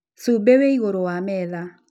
Cumbĩ wĩ igũrũ wa metha